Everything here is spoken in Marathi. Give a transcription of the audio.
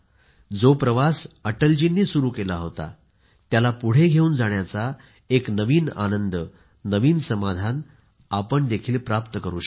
जो प्रवास अटलजींनी सुरु केला होता त्याला पुढे घेऊन जाण्याचा एक नवीन आनंद नवीन समाधान आपण देखील प्राप्त करू शकू